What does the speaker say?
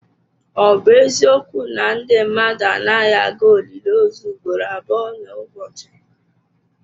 Ọ bụ eziokwu na ndị mmadụ anaghị aga olili ozu ugboro abụọ n'ụbọchị?